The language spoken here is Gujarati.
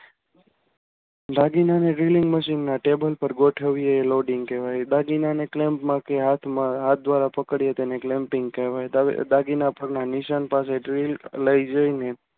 દાગીનાની drilling machine મશીનના ટેબલ પર ગોઠવવા ટેબલ ઉપર ગોઠવીએ એ loading કહેવાય દાગીના ને clamp માં હાથમાં કે હાથ દ્વારા પકડીએ તેને claimping કહેવાય. દાગીના પરના નિશાન dril. લઇ જઈને